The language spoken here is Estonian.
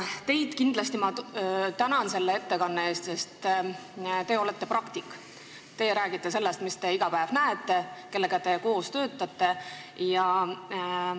Teid ma kindlasti tänan selle ettekande eest, sest teie olete praktik, teie räägite sellest, mida te iga päev näete, te räägite nendest, kellega te koos töötate.